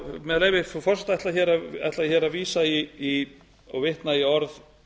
með leyfi frú forseta ætla ég hér að vísa í og vitna í orð